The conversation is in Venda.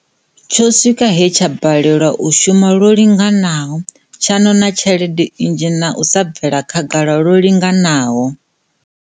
Tsho swika he tsha balelwa u shuma lwo linganaho, tsha ṅoṅa tshelede nnzhi na u sa bvela khagala lwo linganaho.